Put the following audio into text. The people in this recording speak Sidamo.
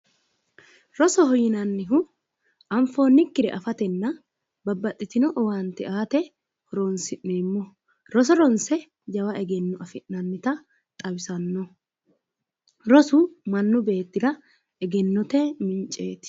Rosoho yinannihu anfoonnikkire afatenna babbaxxitino owaante aate horoonsi'neemmoho roso ronse jawa egenno afi'nannita xawisannoho rosu mannu beettira egennote minceeti